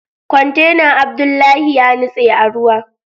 Kwantenan Abdullahi yanitse a ruwa